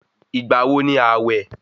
Ìgbà wo ni àwẹ̀?